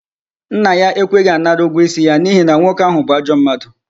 Nna ya ekweghi anara ego isi ya n'ihi na nwoke ahu bu ajo mmadu